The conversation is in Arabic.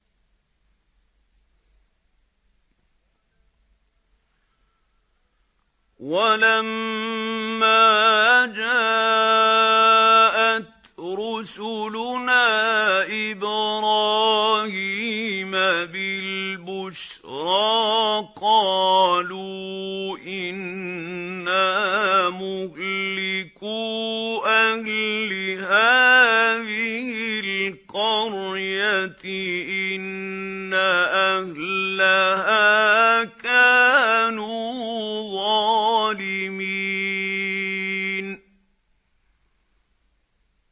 وَلَمَّا جَاءَتْ رُسُلُنَا إِبْرَاهِيمَ بِالْبُشْرَىٰ قَالُوا إِنَّا مُهْلِكُو أَهْلِ هَٰذِهِ الْقَرْيَةِ ۖ إِنَّ أَهْلَهَا كَانُوا ظَالِمِينَ